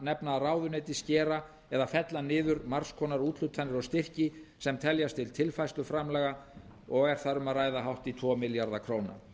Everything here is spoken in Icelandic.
nefna að ráðuneytin skera eða fella niður margs konar úthlutanir og styrki sem teljast til tilfærsluframlaga og er þar um að ræða hátt í tvo milljarða króna